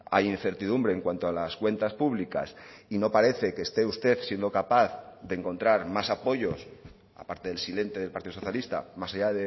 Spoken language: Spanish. hay incertidumbre en cuanto a las cuentas públicas y no parece que este usted siendo capaz de encontrar más apoyos aparte del silente del partido socialista más allá